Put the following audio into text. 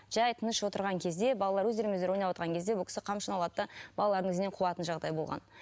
жай тыныш отырған кезде балалар өздерімен өздері ойнап отырған кезде бұл кісі қамшыны алады да балалардың ізінен қуатын жағдай болған